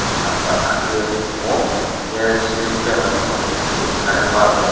akba achukye tongo khe ceiling fan rok phaino chung nukphio current bulbrok.